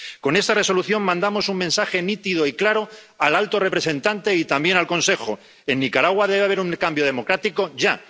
Con esta Resolución mandamos un mensaje nítido y claro al alto representante y también al Consejo en Nicaragua debe haber un cambio democrático ya.